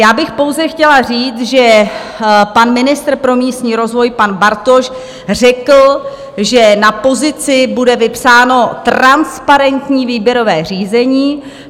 Já bych pouze chtěla říct, že pan ministr pro místní rozvoj pan Bartoš řekl, že na pozici bude vypsáno transparentní výběrové řízení.